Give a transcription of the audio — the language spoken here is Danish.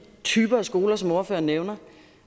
typer af skoler som ordføreren nævner